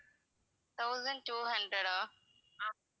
thousand two hundred ah?